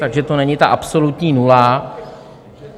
Takže to není ta absolutní nula.